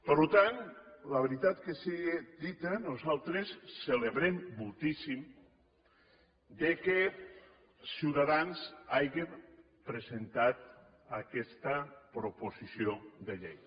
per tant la veritat que siga dita nosaltres celebrem moltíssim que ciutadans haja presentat aquesta proposició de llei